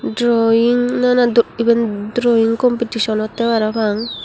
drawing nana dok eben drawing competition otte parapang.